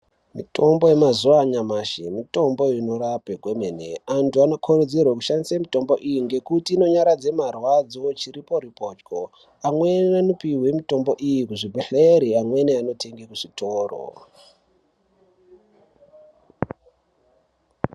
Mutombo ye mazuva anyamashi mitombo inorape kwemene antu ano kurudzirwe kushandise mitombo iyi ngekuti ino nyaradze marwadzo chiri pori pochwo amweni ano pihwe mutombo iyi ku zvibhedhleri amweni ano tenge ku zvitoro.